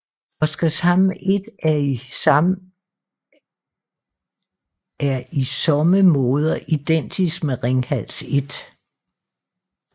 Oskarshamn 1 er i somme måder identisk med Ringhals 1